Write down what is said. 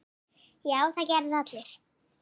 Já, það gerðu það allir.